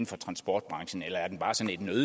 for transportbranchen eller er den bare